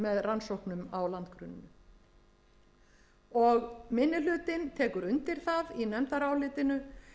rannsóknum á landgrunninu minni hlutinn tekur undir það í nefndarálitinu